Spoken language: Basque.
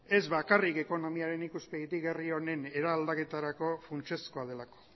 ez bakarrik ekonomiaren ikuspegitik herri honen eraldaketarako funtsezkoa delako